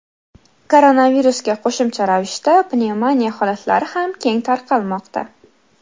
Koronavirusga qo‘shimcha ravishda pnevmoniya holatlari ham keng tarqalmoqda .